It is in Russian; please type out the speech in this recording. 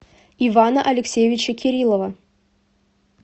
ивана алексеевича кириллова